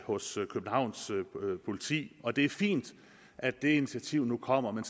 hos københavns politi og det er fint at det initiativ nu kommer men